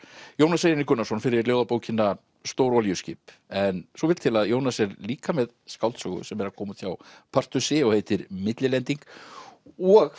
Jónas Reynir Gunnarsson fyrir ljóðabókina Stór olíuskip en svo vill til að Jónas er líka með skáldsögu sem er að koma út hjá Partusi og heitir millilending og